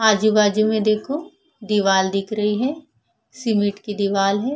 आजू-बाजू में देखो दीवार दिख रही है सीमेंट की दीवार है।